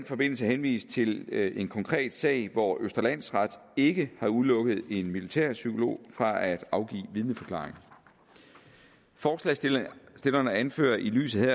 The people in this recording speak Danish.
forbindelse henvist til en konkret sag hvor østre landsret ikke har udelukket en militærpsykolog fra at afgive vidneforklaring forslagsstillerne anfører i lyset